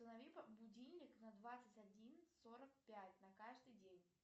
установи будильник на двадцать один сорок пять на каждый день